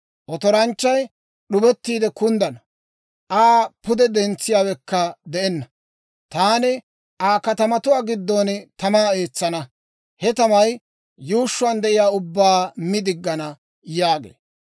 Otoranchchay d'ubettiide kunddana; Aa pude dentsiyaawekka de'enna. Taani Aa katamatuwaa giddon tamaa eetsana; he tamay yuushshuwaan de'iyaa ubbaa mi diggana» yaagee.